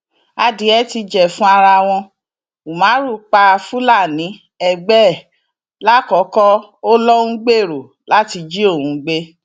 adìẹ ti jẹfun ara wọn umar pa fúlàní ẹgbẹ ẹ làkọkọ ó lọ ń gbèrò láti jí òun gbé